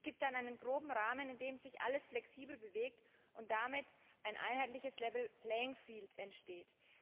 Es gibt dann einen groben Rahmen, in dem sich alles flexibel bewegt und damit ein Level Playing Field entsteht.